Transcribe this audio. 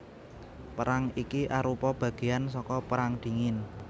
Perang iki arupa bagéan saka Perang Dingin